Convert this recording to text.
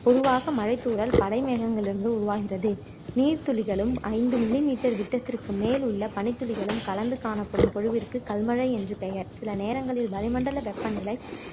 பொதுவாக மழைத்தூறல் மழை மேகங்களில் இருந்து உருவாகிறது நீர் துளிகளும் ஐந்து millimeter விட்டத்திற்கு மேல் உள்ள பனித்துளிகளும் கலந்து காணப்படும் பொழிவிற்கு கல்மழை என்று பெயர் சில நேரங்களில் வளிமண்டல வெப்ப நிலை